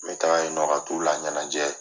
N bɛ taga yen nɔ ka t'u la ya t'ula la ɲɛnajɛ